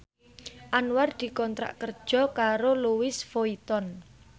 Anwar dikontrak kerja karo Louis Vuitton